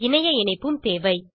இணைய இணைப்பும் தேவை